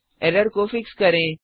error को fix करें